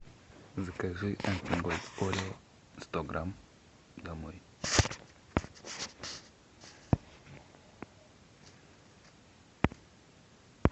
закажи альпен гольд орео сто грамм домой